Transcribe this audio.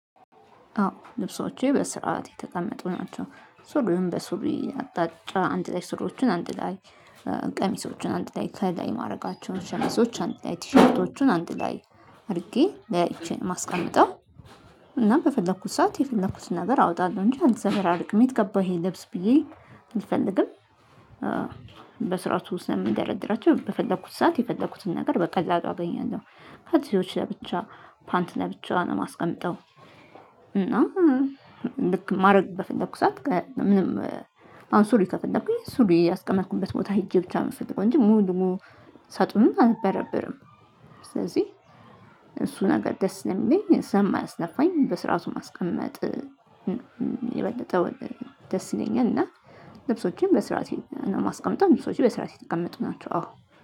አዎ ልብሶቼ በስርዓት የተቀመጡ ናቸው። ሱሪውን በሱሪ አቅጣጫ አንድ ላይ ሱሪዎችን አንድ ላይ ቀሚሶቹን አንድ ላይ ከላይ ማድረጋቸውን ሸሚዞች አንድ ላይ ቲሸርቶቹን አንድ ላይ አድርጌ ለያይቼ ነው የማስቀምጠው። እና በፈለኩት ሰዓት የፈለኩትን ነገር አወጣለሁ እንጂ አልዘበራርቅም። የት ገባ ይሄ ልብስ ብዬ አልፈልግም። በስርዓቱ ስለምደረድራቸው በፈለኩት ሰዓት የፈለኩትን ነገር በቀላሉ አገኛለሁ። ካልሲዎች ለብቻ ፓንት ለብቻ ነው ማስቀመጠው። እና ልክ ማድረግ በፈለኩት ሰዓት ምንም አሁን ሱሪ ከፈለኩኝ ሱሪ ያስቀመጥኩበት ቦታ ሄጄ ብቻ ነው የምፈልገው፤ እንጂ ሙሉ ሙሉ ሳጡንም አልበረብርም። ስለዚህ እሱ ነገር ደስ ነኝ ሰለሚለኝ ስለማያስለፋኝ በስርዓቱ ማስቀመጥ የበለጠውን ደስ ይለኛል። እና ልብሶችን በስርዓት ነው የማስቀምጠው፤ ልብሶችን በስርዓት የተቀመጡ ናቸው አዎ።